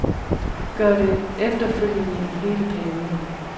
Gør det efterfølgende i hele perioden.